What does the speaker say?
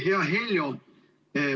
Hea Heljo!